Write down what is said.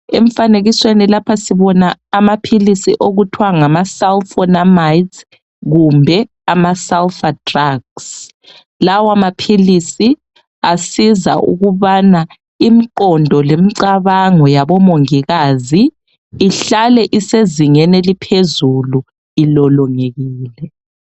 Emfanekisweni lapha sibona amaphilisi okuthwa ngama Sulfonamides kumbe ama sulfa drugs lawa maphilisi asiza ukubana imqondo lemcabango yabo mongikazi ihlale isezingeni eliphezulu ilolongekile